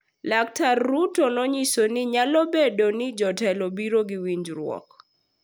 Laktar Ruto nonyiso ni nyalo bedo ni jotelo biro gi winjruok